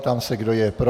Ptám se, kdo je pro.